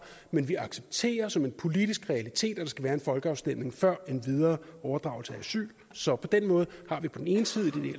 men vi accepterer som en politisk realitet at der skal være en folkeafstemning før en videre overdragelse af asyl så på den måde har vi på den ene side det